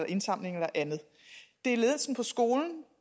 i indsamling eller andet det er ledelsen